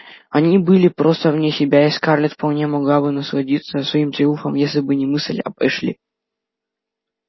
они были просто вне себя и скарлетт вполне могла бы насладиться своим триумфом если бы не мысль об эшли